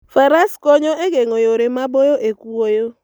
Faras konyo e geng'o yore maboyo e kwoyo.